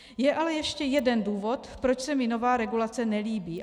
Je ale ještě jeden důvod, proč se mi nová regulace nelíbí.